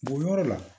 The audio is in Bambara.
Bɔ yɔrɔ la